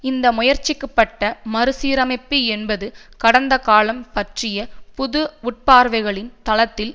இந்த முயற்சிக்கப்பட்ட மறுசீரமைப்பு என்பது கடந்தகாலம் பற்றிய புது உட்பார்வைகளின் தளத்தில்